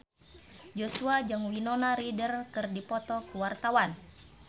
Joshua jeung Winona Ryder keur dipoto ku wartawan